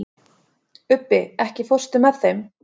Ubbi, ekki fórstu með þeim?